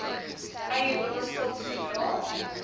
eiendom stop sodra